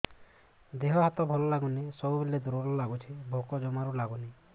ଦେହ ହାତ ଭଲ ଲାଗୁନି ସବୁବେଳେ ଦୁର୍ବଳ ଲାଗୁଛି ଭୋକ ଜମାରୁ ଲାଗୁନି